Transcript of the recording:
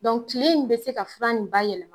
Dɔnku tile in bɛ se ka fura nin ba yɛlɛma